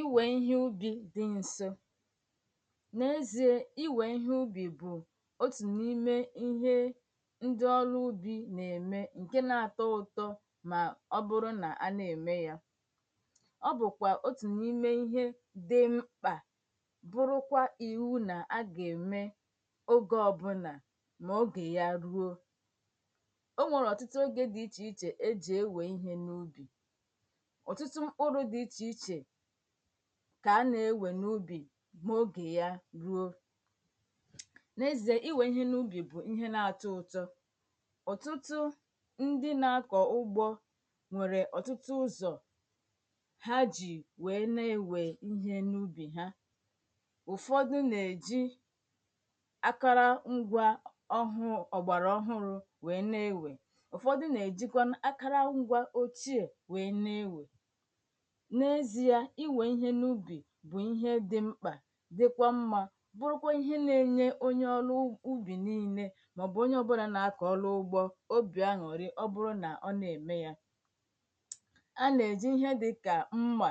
Iwe ihe ubi dị nso n'ezie iwe ihe ubi bụ otu n'ime ihe ndị ọrụ ubi na-eme nke na-atọ ụtọ ma ọ bụrụ na a na-eme ya Ọ bụkwa otu n'ime ihe dị mkpa bụrụkwa iwu na a ga-eme oge ọbụla ma oge ya ruo o nwere ọtụtụ oge dị iche iche e ji ewe ihe n'ubi Ọtụtụ mkpụrụ dị iche iche ka a na-ewe n'ubi ma oge ya ruo n'ezie iwe ihe n'ubi bụ ihe na-atọ ụtọ Ọtụtụ ndị na-akọ ugbo nwere ọtụtụ uzo ha ji wee na-ewe ihe n'ubi Ụfọdụ na-eji akụrụngwa ọgbaraọhụụ wee na-ewe Ụfọdụ na-ejikwa akụrụngwa ochie wee na-ewe n'ezie iwe ihe n'ubi bụ ihe dị mkpa dịkwa mma bụrụkwa ihe na-enye onye ọrụ ubi maọbụ onye ọbụla na-akọ ọrụ ugbo obi aṅụrị ma ọ bụrụ na ọ na-eme ya A na-eji ihe dịka mma